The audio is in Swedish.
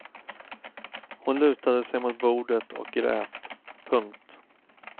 Hon lutade sig mot bordet och grät. punkt